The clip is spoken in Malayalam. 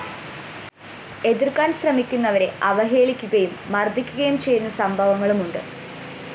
എതിര്‍ക്കാന്‍ ശ്രമിക്കുന്നവരെ അവഹേളിക്കുകയും മര്‍ദ്ദിക്കുകയും ചെയ്യുന്ന സംഭവങ്ങളുമുണ്ട്